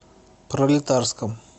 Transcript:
пролетарском